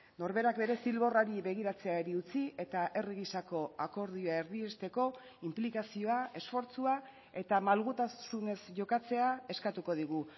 norberak bere zilborrari begiratzeari utzi eta herri gisako akordioa erdiesteko inplikazioa esfortzua eta malgutasunez jokatzea eskatuko digu